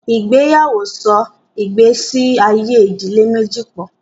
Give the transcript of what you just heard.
Ìgbéyàwó so ìgbésí ayé ìdílé méjì pọ̀.